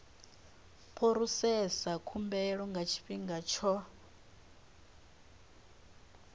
phurosesa khumbelo nga tshifhinga tsho